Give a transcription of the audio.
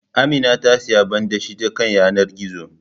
Amina ta siyi banɗashe ta kan yanar gizo